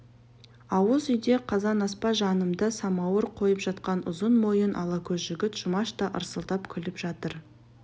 ауыз үйде қазанаспа жанында самауыр қойып жатқан ұзын мойын ала көз жігіт жұмаш та ырсылдап күліп жатыр